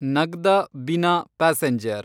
Nagda Bina passenger